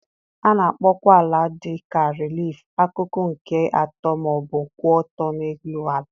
A na-akpọkwa ala dị ka relief - akụkụ nke atọ ma ọ bụ kwụ ọtọ nkè élú àlà.